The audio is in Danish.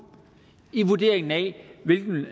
i vurderingen af hvilken